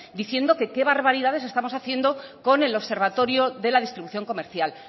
diciendo que qué barbaridades estamos haciendo con el observatorio de la distribución comercial